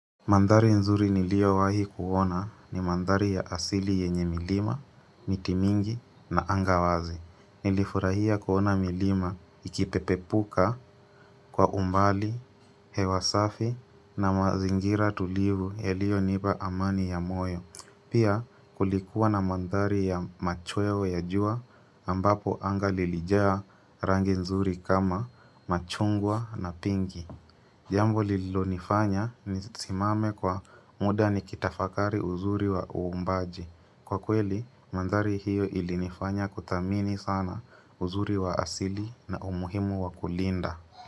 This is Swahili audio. Mandhari nzuri niliyowahi kuona ni mandhari ya asili yenye milima, miti mingi na anga wazi. Nilifurahia kuona milima ikipepepuka kwa umbali, hewa safi na mazingira tulivu yaliyonipa amani ya moyo. Pia kulikuwa na mandhari ya machweo ya jua ambapo anga lilijea rangi nzuri kama machungwa na pinki. Jambo lilonifanya nisimame kwa muda ni kitafakari uzuri wa uumbaji. Kwa kweli, mandhari hiyo ilinifanya kuthamini sana uzuri wa asili na umuhimu wakulinda.